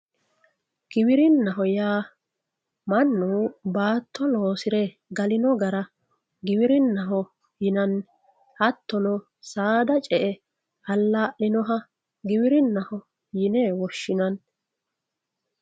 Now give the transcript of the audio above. giwirinnaho yaa mannu baato loosire galino gara giwirinnaho yinanni hattono saada ce"e alaa'linoha giwirinnaho yine woshshinanni.